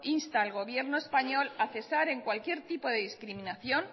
insta al gobierno español a cesar en cualquier tipo de discriminación